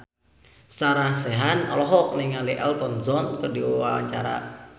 Sarah Sechan olohok ningali Elton John keur diwawancara